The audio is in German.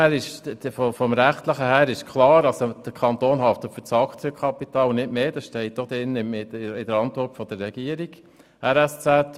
In rechtlicher Hinsicht ist klar, dass der Kanton für das Aktienkapital haftet und nicht für mehr, das heisst für die RSZ plus für das Geld, das verbürgt ist.